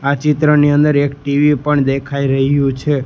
આ ચિત્રની અંદર એક ટી_વી પણ દેખાય રહ્યું છે.